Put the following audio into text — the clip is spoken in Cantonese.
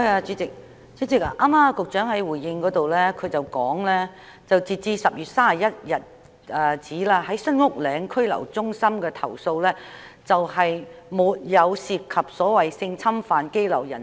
主席，局長剛才在主體答覆中指出，截止10月31日，關於新屋嶺拘留中心的投訴並沒有涉及所謂性侵犯羈留人士。